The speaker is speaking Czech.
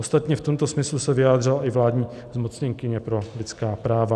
Ostatně v tomto smyslu se vyjádřila i vládní zmocněnkyně pro lidská práva.